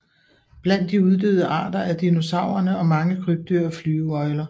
Blandt de uddøde arter er dinosaurerne og mange krybdyr og flyveøgler